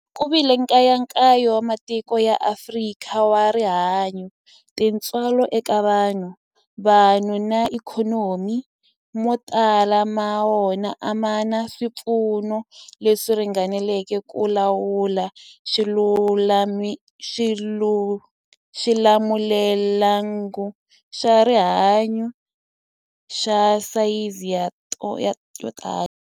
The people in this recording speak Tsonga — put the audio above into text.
Ku vile nkayakayo wa matiko ya Afrika wa rihanyu, tintswalo eka vanhu, vanhu na ikhonomi, mo tala ma wona a ma na swipfuno leswi ringaneleke ku lawula xilamulelamhangu xa rihanyu xa sayizi yo tani.